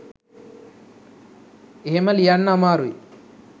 එහෙම ලියන්න අමාරුයි